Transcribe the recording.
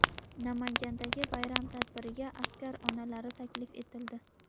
Namangandagi bayram tadbiriga askar onalari taklif etildi.